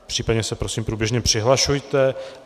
Případně se prosím průběžně přihlašujte.